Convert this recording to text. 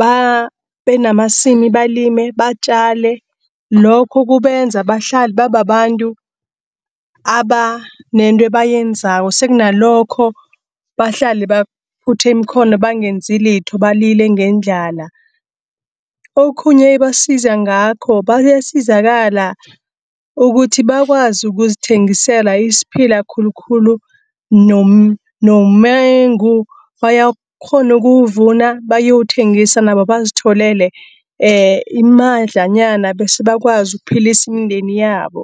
babenamasimi balime batjale. Lokho kubenza bahlale babantu, abanento bayenzako, sekunalokho bahlale baphuthe iimkhono bangenzilitho, balile ngendlala. Okhunye ebasiza ngakho, bayasizakala ukuthi bakwazi ukuzithengisela isiphila khulukhulu noma nomengu, bayakghona okuwuvuna bayowuthengisa nabo bazitholele imadlanyana bese bakwazi ukuphelisi mndeni yabo.